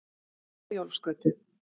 Herjólfsgötu